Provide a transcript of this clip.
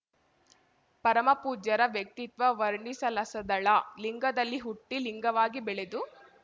ಪರಮ ಪೂಜ್ಯರ ವ್ಯಕ್ತಿತ್ವ ವರ್ಣಿಸಲಸದಳ ಲಿಂಗದಲ್ಲಿ ಹುಟ್ಟಿ ಲಿಂಗವಾಗಿ ಬೆಳೆದು